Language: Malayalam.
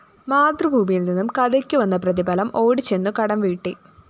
മാതൃഭൂമിയില്‍ നിന്നും കഥയ്ക്കുവന്ന പ്രതിഫലം! ഓടിച്ചെന്നു കടംവീട്ടി